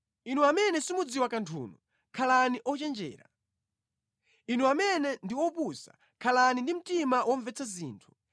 Inu amene simudziwa kanthunu khalani ochenjera; inu amene ndi opusa, khalani ndi mtima womvetsa zinthu.